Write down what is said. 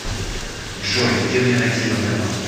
джой где мне найти банкомат